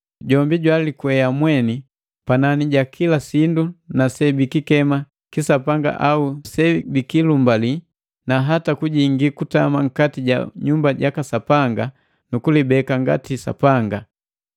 Jombi jwalikwea mweni panani ja kila sindu na sebikikema kisapanga au sebikilumbali, na hata kujingi kutama nkati ja nyumba jaka Sapanga nu kulibeka ngati Sapanga.